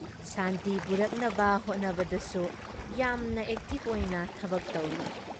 ꯁꯥꯟꯇꯤ ꯄꯨꯔꯛꯅꯕ ꯍꯣꯠꯅꯕꯗꯁꯨ ꯌꯥꯝꯅ ꯑꯦꯛꯇꯤꯕ ꯑꯣꯏꯅ ꯊꯕꯛ ꯇꯧꯢ꯫